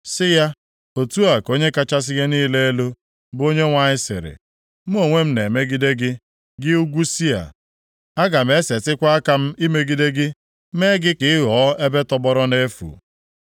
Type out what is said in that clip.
sị ya, ‘Otu a ka Onye kachasị ihe niile elu, bụ Onyenwe anyị sịrị: Mụ onwe m na-emegide gị, gị ugwu Sia. Aga m esetikwa aka m imegide gị, mee gị ka ị ghọọ ebe tọgbọrọ nʼefu.